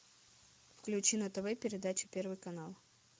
включи на тв передачу первый канал